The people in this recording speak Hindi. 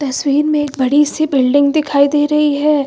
तस्वीर में एक बड़ी सी बिल्डिंग दिखाई दे रही है।